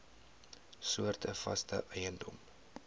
soorte vaste eiendom